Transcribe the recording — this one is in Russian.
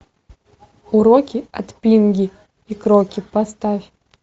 уроки от пинги и кроки поставь